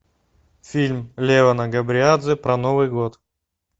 фильм левана габриадзе про новый год